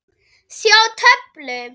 Sjá töflu.